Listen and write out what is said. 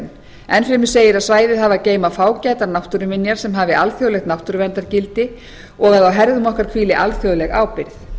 búsvæðagerðum enn fremur segir að svæðið hafi að geyma fágætar náttúruminjar sem hafi alþjóðlegt náttúruverndargildi og að á herðum okkar hvíli alþjóðleg ábyrgð